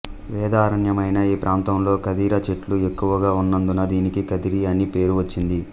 వేదారణ్యమైన ఈ ప్రాంతంలో ఖదిర చెట్లు ఎక్కువగా ఉన్నందున దీనికి కదిరి అని పేరు వచ్చింది